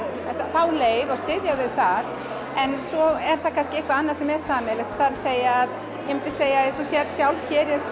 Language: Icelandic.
þá leið og styðja þau þar en svo er kannski eitthvað annað sem er sameiginlegt það er að segja að ég myndi segja eins og þú sérð sjálf hér